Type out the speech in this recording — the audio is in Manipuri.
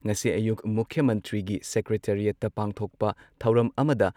ꯉꯁꯤ ꯑꯌꯨꯛ ꯃꯨꯈ꯭ꯌ ꯃꯟꯇ꯭ꯔꯤꯒꯤ ꯁꯦꯀ꯭ꯔꯦꯇꯔꯤꯌꯦꯠꯇ ꯄꯥꯡꯊꯣꯛ ꯊꯧꯔꯝ ꯑꯃꯗ